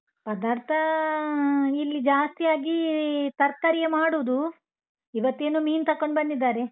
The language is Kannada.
ಪದಾರ್ಥಾ, ಇಲ್ಲಿ ಜಾಸ್ತಿಯಾಗಿ ತರ್ಕಾರಿಯೆ ಮಾಡುದು ಇವತ್ತೇನೋ ಮೀನು ತಕೊಂಡ್ ಬಂದಿದ್ದಾರೆ.